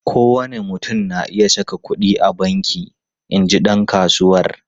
Kowane mutum na iya saka kudi a banki, in ji dan kasuwar.